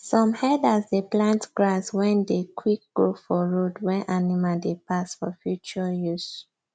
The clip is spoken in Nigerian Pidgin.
some herders dey plant grass wen dey quick grow for road wen animal dey pass for future use